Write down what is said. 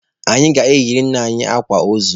A ga-eyiri nna anyi akwa ozu!